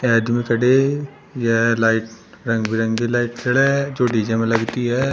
आदमी खड़े यह लाइट रंग बिरंगी लाइट जो डी_जे में लगती है।